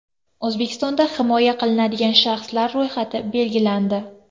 O‘zbekistonda himoya qilinadigan shaxslar ro‘yxati belgilandi.